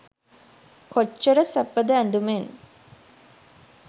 කොච්චර සැපද ඇදුමෙන්?